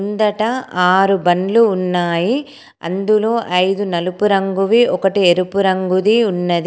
ముందట ఆరు బండ్లు ఉన్నాయి. అందులో ఐదు నలుపు రంగువి ఒకటి ఎరుపు రంగుది ఉన్నది.